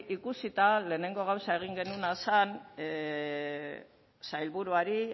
ikusita lehenengo gauza egin genuena zen sailburuari